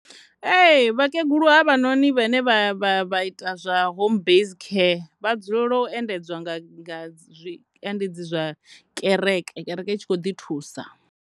Ee, vhakegulu hevhanoni vhane vha ita zwa homebase care vha dzulela u endedzwa nga zwiendedzi zwa kereke, kereke i tshi kho ḓi thusa.